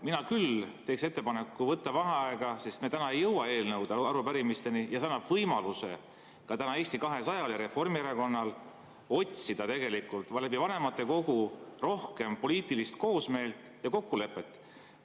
Mina küll teeks ettepaneku võtta vaheaeg, sest me täna ei jõua eelnõude ja arupärimisteni ja see annab võimaluse ka täna Eesti 200‑l ja Reformierakonnal otsida tegelikult vanematekogu kaudu rohkem poliitilist koosmeelt ja kokkulepet.